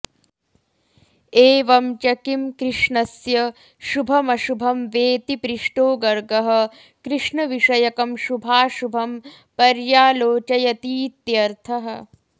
एवंच किं कृष्णस्य शुभमशुभं वेति पृष्टो गर्गः कृष्णविषयकं शुभाऽशुभं पर्योलोचयतीत्यर्थः